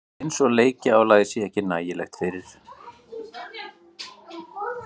Eins og leikjaálagið sé ekki nægilegt fyrir?